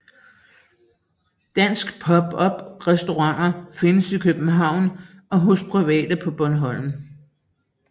Danske pop up restauranter findes i København og hos private på Bornholm